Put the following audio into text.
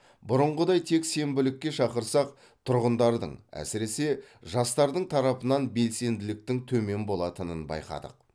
бұрынғыдай тек сенбілікке шақырсақ тұрғындардың әсіресе жастардың тарапынан белсенділіктің төмен болатынын байқадық